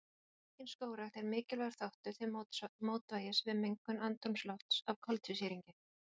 Aukin skógrækt er mikilvægur þáttur til mótvægis við mengun andrúmslofts af koltvísýringi.